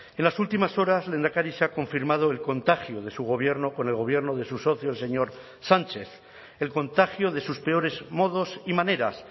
en las últimas horas lehendakari se ha confirmado el contagio de su gobierno con el gobierno de su socio el señor sánchez el contagio de sus peores modos y maneras